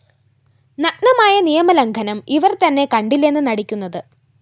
നഗ്നമായ നിയമ ലംഘനം ഇവർ തന്നെ കണ്ടില്ലെന്ന് നടിക്കുന്നത്